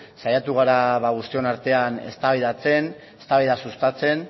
saiatu gara guztion artean eztabaidatzen eztabaida sustatzen